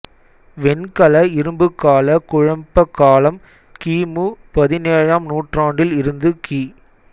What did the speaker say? வெண்கலஇரும்புக் கால குழப்ப காலம் கி மு பதினேழாம் நூற்றாண்டில் இருந்து கி